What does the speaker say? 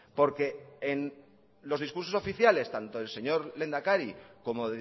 porque en los discursos oficiales tanto el señor lehendakari como